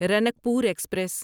Ranakpur express